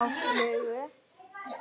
Á flugu?